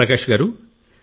ప్రకాశ్ గారూ